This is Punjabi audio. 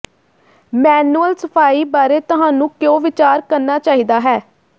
ਮੈਨੂਅਲ ਸਫਾਈ ਬਾਰੇ ਤੁਹਾਨੂੰ ਕਿਉਂ ਵਿਚਾਰ ਕਰਨਾ ਚਾਹੀਦਾ ਹੈ